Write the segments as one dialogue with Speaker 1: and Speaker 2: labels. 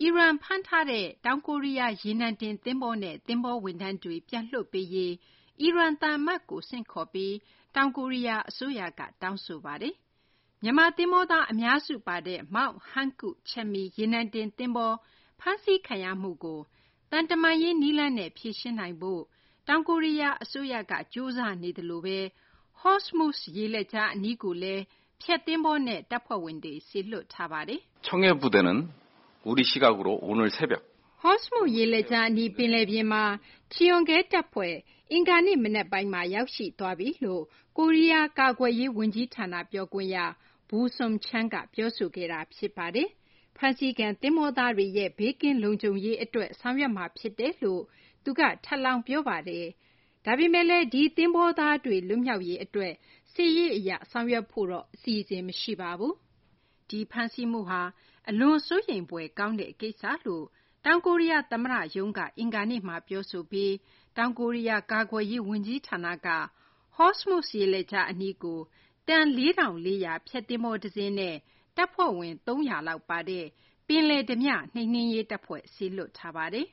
Speaker 1: အီရန် ဖမ်းထားတဲ့ ကိုရီးယား ရေနံတင် သဘောၤနဲ့ သဘောၤဝန်ထမ်းတွေကို ပြန်လွှတ်ပေးရေး အီရန် သံအမတ်ကို ဆင့်ခေါ်ပြီး တောင်ကိုရီးယား အစိုးရက တောင်းဆိုလိုက်ပါတယ်။ မြန်မာ သဘောၤသား အများစုပါတဲ့ MT Hankuk Chemi ရေနံတင် သဘောၤ ဖမ်းဆီးခံရမှုကို သံတမန်ရေး နည်းလမ်းနဲ့ ဖြေရှင်းနိုင်ရေး တောင်ကိုရီးယား အစိုးရက ကြိုးစားနေသလို Hormuz ရေလက်ကြား အနီးကိုလည်း ဖျက်သဘောၤနဲ့ တပ်ဖွဲ့ဝင်တွေ စေလွှတ်ထားပါတယ်။ မသိင်္ဂ ီထိုက် ပြောပြပေးမှာပါ။ “Hormuz ရေလက်ကြား အနီး ပင်လယ်ပြင်မှာ Cheonghae တပ်ဖွဲ့ အင်္ဂါနေ့ မနက်ပိုင်းမှာ ရောက်ရှိသွားပြီ”လို့ ကိုရီးယား ကာကွယ်ရေး ဝန်ကြီးဌာန ပြောခွင့်ရ Boo Seung-chan က ပြောဆိုခဲ့တာ ဖြစ်ပါတယ်။ ဖမ်းဆီးခံ သဘောၤသားတွေရဲ့ ဘေးကင်းလုံခြုံမှု အတွက် ဆောင်ရွက်မှာ ဖြစ်တယ်လို့လည်း သူက ထပ်လောင်း ပြောပါတယ်။ ဒါပေမယ့်လည်း ဒီသဘောၤသားတွေ လွတ်မြောက်ရေး အတွက် စစ်ရေးအရ ဆောင်ရွက်ဖို့ အစီအစဉ်တော့ မရှိပါဘူး။ ဒီဖမ်းဆီးမှုဟာ အလွန် စိုးရိမ်ဖွယ် ကောင်းတဲ့ ကိစ္စလို့လည်း တောင်ကိုရီးယား သမ္မတ ရုံးက အင်္ဂါနေ့မှာ ပြောဆိုပြီး တောင်ကိုရီးယား ကာကွယ်ရေး ဝန်ကြီးဌာနက Hormuz ရေလက်ကြား အနီးကို တန် ၄,၄၀၀ ဖျက်သဘောၤတစင်းနဲ့ တပ်ဖွဲ့ဝင် ၃၀၀ လောက်ပါတဲ့ ပင်လယ်ဓားပြ နှိမ်နင်းရေး တပ်ဖွဲ့ စေလွှတ်ထားပါတယ်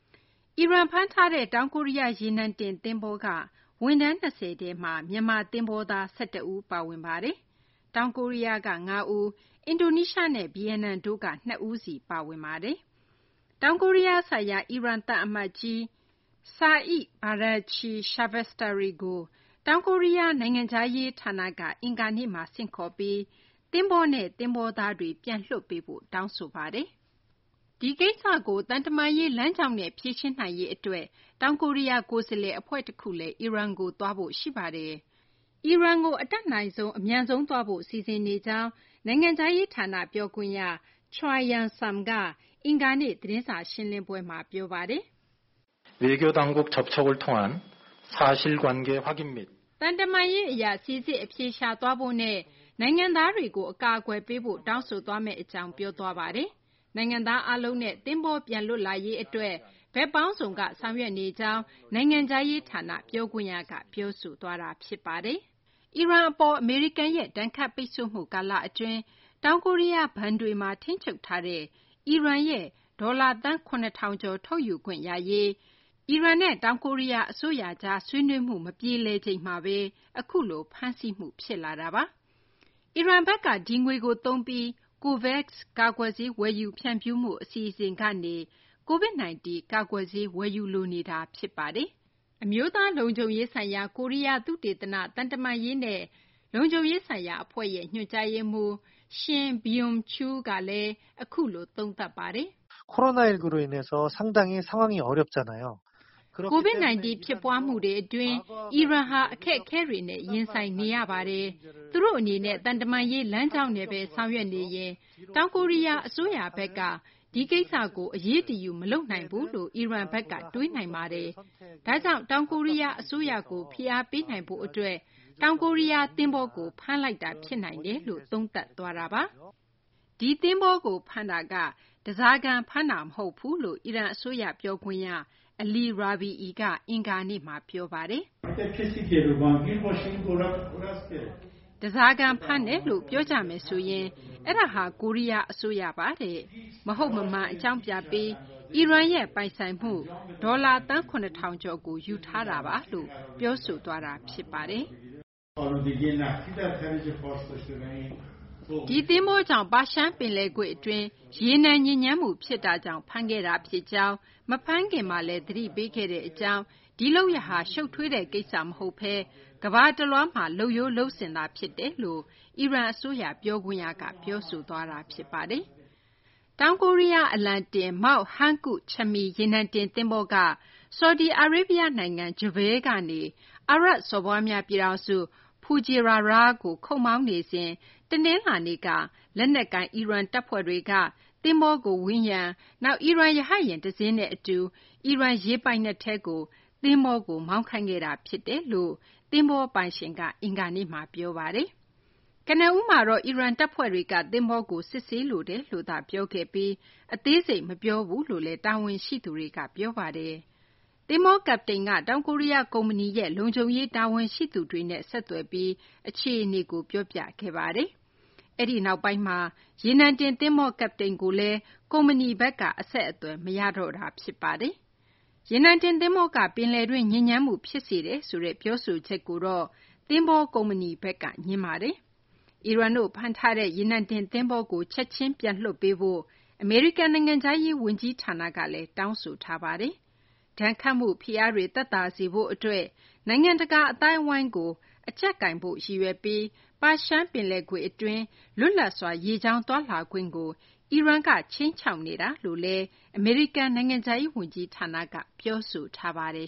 Speaker 1: ။ အီရန် ဖမ်းထားတဲ့ တောင်ကိုရီးယား ရေနံတင် သဘောၤ MT Hankuk Chemi က ဝန်ထမ်း ၂၀ ထဲ မြန်မာ သဘောၤသား ၁၁ဦး ပါဝင်ပါတယ်။ တောင်ကိုရီးယား ၅ ဦး၊ အင်ဒိုနီးရှားနဲ့ ဗီယက်နမ်တို့က ၂ ဦးစီ ပါဝင်ပါတယ်။ တောင်ကိုရီးယားဆိုင်ရာ အီရန် သံအမတ်ကြီး Saeed Badamchi Shabestari ကို တောင်ကိုရီးယား နိုင်ငံခြားရေးဌာနက အင်္ဂါနေ့မှ ဆင့်ခေါ်ပြီး သဘောၤနဲ့ သဘောၤသားတွေကို ပြန်လွှတ်ပေးဖို့ တောင်းဆိုထားပါတယ်။ ဒီကိစ္စကို သံတမန်ရေး လမ်းကြောင်းနဲ့ ဖြေရှင်းနိုင်ရေး အတွက် တောင်ကိုရီးယား ကိုယ်စားလှယ် အဖွဲ့ တခုလည်း အီရန်ကို သွားဖို့ ရှိပါတယ်။ အီရန်ကို အတတ်နိုင်ဆုံး အမြန်ဆုံး သွားဖို့ စီစဉ်နေကြောင်း နိုင်ငံခြားရေး ဌာန ပြောခွင့်ရ Choi Young-sam ကလည်း အင်္ဂါနေ့ သတင်းစာ ရှင်းလင်းပွဲမှာ ပြောပါတယ်။ “သံတမန်ရေး အရ စိစစ် အဖြေရှာသွားဖို့နဲ့ နိုင်ငံသားတွေကို အကာအကွယ်ပေးဖို့ တောင်းဆိုသွားမယ့် အကြောင်း ပြောသွားတာပါ။ နိုင်ငံသား အားလုံးနဲ့ သဘောၤ ပြန်လွတ်လာရေး အတွက် ဘက်ပေါင်းစုံက ဆောင်ရွက်နေကြောင်း နိုင်ငံခြားရေး ဌာန ပြောခွင့်ရက ပြောသွားတာပါ။ အီရန် အပေါ် အမေရိကန်ရဲ့ ဒဏ်ခတ်ပိတ်ဆို့မှု ကာလ အတွင်း တောင်ကိုရီးယား ဘဏ်တွေမှာ ထိန်းချုပ်ထားတဲ့ အီရန်ပိုင်ဆိုင်မှု ဒေါ်လာ သန်း ၇၀၀၀ ကျော် ထုတ်ယူခွင့်ရရေး အီရန်နဲ့ တောင်ကိုရီးယား အစိုးရကြား ဆွေးနွေးမှု မပြေလည်ချိန်မှာဘဲ အခုလို ဖမ်းဆီးမှု ဖြစ်လာတာပါ။ အီရန်ဘက်က ဒီငွေကို သုံးပြီး COVAX ကာကွယ်ဆေး ဝယ်ယူဖြန့်ဖြူးမှု အစီအစဉ်ကနေ COVID-19 ကာကွယ်ဆေး ဝယ်ယူလိုနေတာလည်း ဖြစ်ပါတယ်။ အမျိုးသားလုံခြုံရေးဆိုင်ရာ ကိုရီးယား သုတေသန- သံတမန်ရေးနဲ့ လုံခြုံရေးဆိုင်ရာအဖွဲ့ရဲ့ ညွှန်ကြားရေးမှူး Shim Beom-Chul ကလည်း အခုလို သုံးသပ်ပါတယ်။ “COVID-19 ဖြစ်ပွားမှုတွေ အတွင်း အီရန်ဟာ အခက်အခဲတွေနဲ့ ရင်ဆိုင်နေရပါတယ်။ သူတို့ အနေနဲ့ သံတမန်ရေး လမ်းကြောင်းနဲ့ဘဲ ဆောင်ရွက်နေရင် တောင်ကိုရီးယား အစိုးရဘက်က ဒီကိစ္စကို အရေးတယူ မလုပ်နိုင်ဘူးလို့ အီရန်ဘက်က တွေးနိုင်ပါတယ်။ ဒါကြောင့် တောင်ကိုရီးယား အစိုးရကို ဖိအားပေးနိုင်ဖို့ အတွက် တောင်ကိုရီးယား သဘောၤကို ဖမ်းလိုက်တာ ဖြစ်နိုင်တယ်” လို့ သုံးသပ်သွားတာပါ။ ဒီသဘောၤကို ဖမ်းတာက ဓားစာခံ ဖမ်းတာ မဟုတ်ဘူးလို့ အီရန် အစိုးရ ပြောခွင့်ရ Ali Rabiei က အင်္ဂါနေ့မှာ ပြောပါတယ်။ “ဓားစာခံ ဖမ်းတယ်လို့ ပြောကြမယ်ဆိုရင် အဲဒါဟာ ကိုရီးယား အစိုးရပါ။ မဟုတ်မမှန် အကြောင်းပြပြီး အီရန်ရဲ့ ပိုင်ဆိုင်မှု ဒေါ်လာ သန်း ၇,၀၀၀ ကျော်ကို ယူထားတာပါ” လို့ ပြောဆိုသွားတာပါ။ “ဒီသဘောၤကြောင့် ပါရှန်ပင်လယ်ကွေ့ အတွင်းမှာ ရေနံ ညစ်ညမ်းမှု ဖြစ်တာကြောင့် ဖမ်းခဲ့တာ ဖြစ်ကြောင်း၊ မဖမ်းခင်မှာလည်း သတိပေးခဲ့ကြောင်း၊ ဒီလုပ်ရပ်ဟာ ရှုပ်ထွေးတဲ့ ကိစ္စ မဟုတ်ဘဲ ကမ္ဘာတလွှားမှာ လုပ်ရိုးလုပ်စဉ်သာ ဖြစ်ကြောင်း” အီရန် အစိုးရ ပြောခွင့်ရက ပြောပါတယ်။ တောင်ကိုရီးယား အလံတင် MT Hankuk Chemi ရေနံတင် သဘောၤက ဆော်ဒီအာရေဗျ နိုင်ငံ Jubail ကနေ အာရပ်စော်ဘွားများပြည်ထောင်စု Fujairah ကို ခုတ်မောင်းနေစဉ် တနလာၤနေ့က လက်နက်ကိုင် အီရန် တပ်ဖွဲ့တွေက သဘောၤကို ဝန်းရံ၊ နောက် အီရန် ရဟတ်ယာဉ် တစင်းနဲ့ အတူ အီရန် ရေပိုင်နက်ထဲကို မောင်းခိုင်းခဲ့တာ ဖြစ်တယ်လို့ သဘောၤပိုင်ရှင်က အင်္ဂါနေ့မှာ ပြောပါတယ်။ ကနဦးမှာတော့ အီရန် တပ်ဖွဲ့တွေက သဘောၤကို စစ်ဆေးလိုတယ်လို့သာ ပြောခဲ့ပြီး အသေးစိတ် မပြောခဲ့ဘူးလို့လည်း တာဝန်ရှိသူတွေက ပြောပါတယ်။ သဘောၤ ကပ္ပတိန်က တောင်ကိုရီးယားက ကုမ္ပဏီရဲ့ လုံခြုံရေး တာဝန်ရှိသူတွေနဲ့ ဆက်သွယ်ပြီး အခြေအနေကို ပြောခဲ့ပါတယ်။ အဲဒီနောက်ပိုင်းမှာ ရေနံတင် သဘောၤ ကပ္ပတိန်ကိုလည်း ကုမ္ပဏီဘက်က အဆက်အသွယ် မရတော့တာ ဖြစ်ပါတယ်။ ရေနံတင် သဘောၤက ပယ်လယ်တွင်း ညစ်ညမ်းမှု ဖြစ်စေတယ်ဆိုတဲ့ ပြောဆိုချက်ကို သဘောၤကုမ္ပဏီဘက်က ငြင်းဆိုထားပါတယ်။ အီရန်တို့ ဖမ်းထားတဲ့ ရေနံတင် သဘောၤကို ချက်ချင်း ပြန်လွှတ်ပေးဖို့ အမေရိကန် နိုင်ငံခြားရေး ဝန်ကြီးဌာနကလည်း တောင်းဆိုထားပါတယ်။ ဒဏ်ခတ်မှု ဖိအားတွေ သက်သာစေဖို့ အတွက် နိုင်ငံတကာအသိုင်းအဝိုင်းကို အကြပ်ကိုင်ဖို့ ရည်ရွယ်ပြီး ပါရှန်ပင်လယ်ကွေ့ အတွင်း လွတ်လပ်စွာ ရေကြောင်းသွားလာခွင့်ကို အီရန်က ခြိမ်းခြောက်နေတာလို့လည်း အမေရိကန် နိုင်ငံခြားရေး ဝန်ကြီးဌာနက ပြောဆိုထားပါတယ်